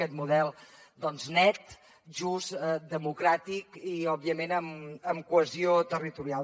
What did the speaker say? aquest model doncs net just democràtic i òbviament amb cohesió territorial